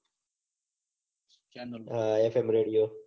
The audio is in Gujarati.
હા એફ એમ રેડીઓ